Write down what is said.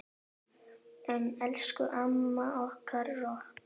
Elsku amma okkar rokk.